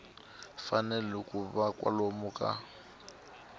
fanele ku va kwalomu ka